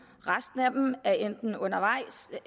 resten af dem er enten undervejs